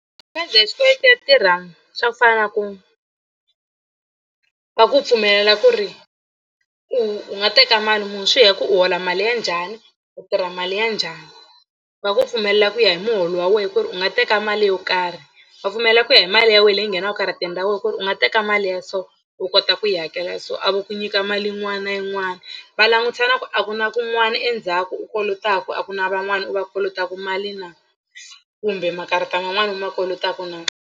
Khadi ya xikweleti ya tirha swo fana na ku va ku pfumelela ku ri u u nga teka mali muni swi ya ku u hola mali ya njhani u tirha mali ya njhani. Va ku pfumelela ku ya hi muholo wa wena ku ri u nga teka mali yo karhi va pfumelela ku ya hi mali ya wena leyi nghenaka karateni ra wena ku ri u nga teka mali ya so u kota ku yi hakela so a vo ku nyika mali yin'wana na yin'wana va langutisa na ku a ku na kun'wana endzhaku u kolotaka a ku na van'wana u va kolotaka mali na kumbe makarata man'wani u ma kolotaka na.